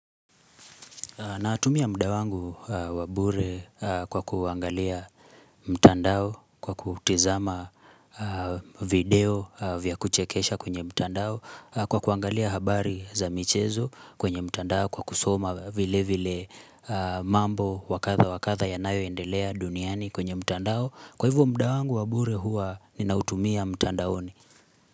Natumia muda wangu wa bure kwa kuangalia mtandao, kwa kutizama video vya kuchekesha kwenye mtandao, kwa kuangalia habari za michezo kwenye mtandao, kwa kusoma vile vile mambo wa kadha wa kadha yanayoendelea duniani kwenye mtandao. Kwa hivyo muda wangu wa bure huwa ninautumia mtandaoni.